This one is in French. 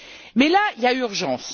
Mais, là il y a urgence.